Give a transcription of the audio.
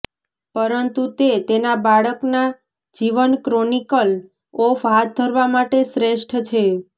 પરંતુ તે તેના બાળકના જીવન ક્રોનિકલ ઓફ હાથ ધરવા માટે શ્રેષ્ઠ છે